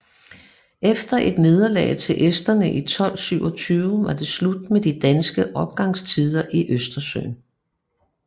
Efter et nederlag til esterne i 1227 var det slut med de danske opgangstider i Østersøen